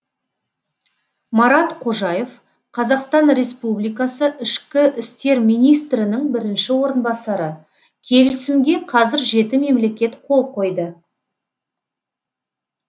марат қожаев қазақстан республикасы ішкі істер министрінің бірінші орынбасары келісімге қазір жеті мемлекет қол қойды